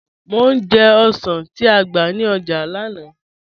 Mọ̀ ní jẹ̀ ọ̀ṣàn ti á gba ní ọ́jà lánà